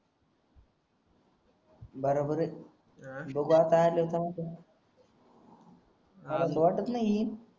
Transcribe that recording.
बराबर आहे बघू आता आलाय तर मला तर वाटत नाही